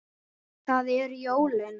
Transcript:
Það eru jólin.